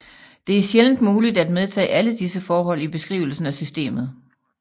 Det er sjældent muligt at medtage alle disse forhold i beskrivelsen af systemet